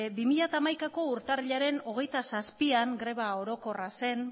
bi mila hamaikako urtarrilaren hogeita zazpian greba orokorra zen